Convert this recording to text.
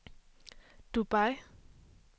Dubai